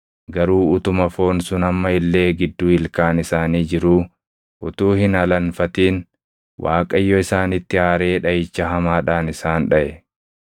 Garuu utuma foon sun amma illee gidduu ilkaan isaanii jiruu, utuu hin alanfatin Waaqayyo isaanitti aaree dhaʼicha hamaadhaan isaan dhaʼe.